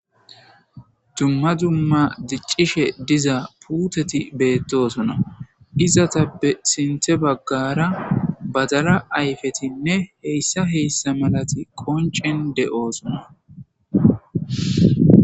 Dumma dumma diccishe diza puuteti beettosona izatappe sinthe baggara badala ayfetinne heyssa heyssa malati qoncen de7oosona.